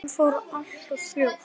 Hann fór allt of fljótt.